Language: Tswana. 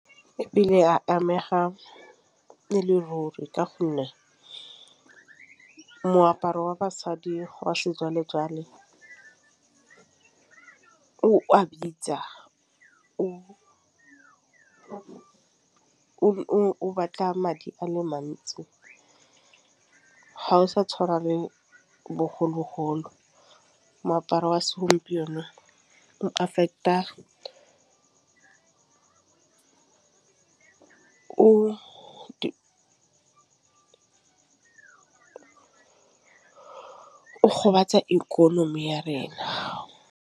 E ile ya amega e le ruri ka gonne moaparo wa basadi wa sejwalejwale o a bitsa o batla madi a le mantsi ga o sa tšhwana le bogologolo. Moaparo wa segompieno affect-a o gobatsa ikonomi ya rena.